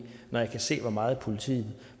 når jeg kan se hvor meget politiet